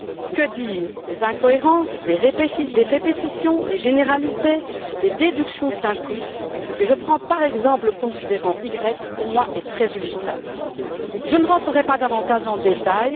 Que dire des incohérences, des répétitions, des généralités, des déductions simplistes? Je prends par exemple le considérant Y qui, pour moi, est très illustratif. Je ne rentrerai pas davantage dans les détails.